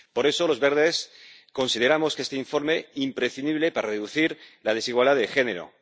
Por eso, los verdes consideramos este informe imprescindible para reducir la desigualdad de género.